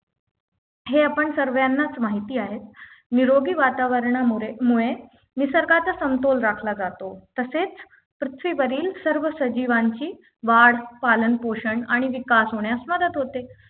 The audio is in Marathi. हे आपण सर्वांनाच माहिती आहे निरोगी वातावरणामुरे मुळे निसर्गाचा समतोल राखला जातो तसेच पृथ्वीवरील सर्व सजीवांची वाढ पालन पोषण आणि विकास होण्यास मदत होते